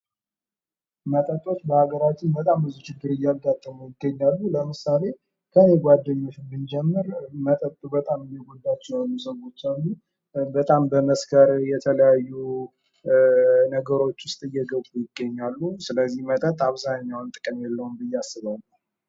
መጠጦች በሀገራችን በጣም ብዙ ችግር እያጋጠሙ ይገኛሉ። ለምሳሌ ከእኔ ጓደኞች ብንጀምር መጠጥ በጣም እየጎዳቸው የሆነ ሰዎች አሉ። በጣም በመስከር የተለያዩ ነገሮች ውስጥ እየገቡ ይገኛሉ። ስለዚህ መጠጥ ብዛኛውን ጥቅም የለውም ብየ አስባለሁ።